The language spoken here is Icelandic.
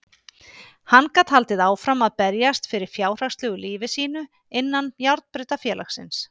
Hann gat haldið áfram að berjast fyrir fjárhagslegu lífi sínu innan járnbrautarfélagsins.